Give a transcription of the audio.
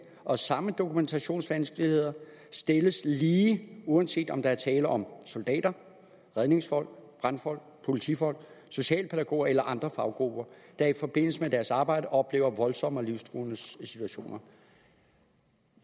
og samme dokumentationsvanskeligheder stilles lige uanset om der er tale om soldater redningsfolk brandfolk politifolk socialpædagoger eller andre faggrupper der i forbindelse med deres arbejde oplever voldsomme og livstruende situationer